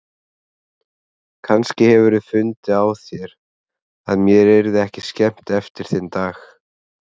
Kannski hefurðu fundið á þér að mér yrði ekki skemmt eftir þinn dag.